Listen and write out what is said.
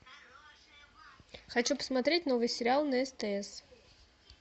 хочу посмотреть новый сериал на стс